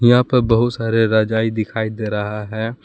यहाँ पर बहुत सारे रजाई दिखाई दे रहा है।